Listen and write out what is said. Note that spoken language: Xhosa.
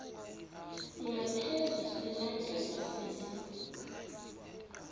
ngaphezu silandelwa sisi